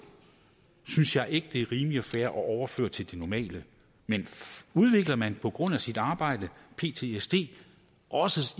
synes jeg ikke det er rimeligt og fair at overføre til det normale men udvikler man på grund af sit arbejde ptsd også